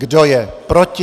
Kdo je proti?